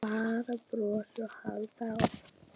Bara brosa og halda áfram.